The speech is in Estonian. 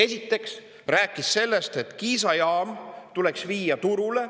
Esiteks rääkis sellest, et Kiisa jaam tuleks viia turule.